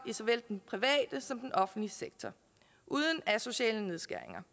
i såvel den private som den offentlige sektor uden asociale nedskæringer